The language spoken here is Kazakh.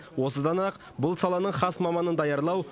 осыдан ақ бұл саланың хас маманын даярлау